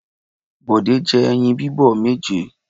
Bọ̀dé jẹ́ ẹyin bíbọ̀ méje.